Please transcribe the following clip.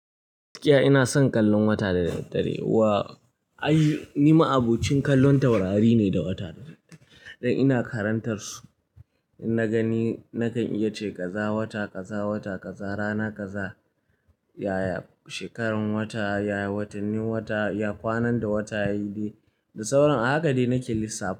Gaskiya ina son kallon wata da dad dare. Wa, ai ni ma abokin kallon taurari ne da wata dad dare. Dan ina karantar su, idan na gani nakan iya ce kaza wata, kaza wata, kaza rana, kaza yaya shekarar wata, yaya watanni, wata ya kwanan da wata yayi dai da sauran. A haka dai nake lissa fa.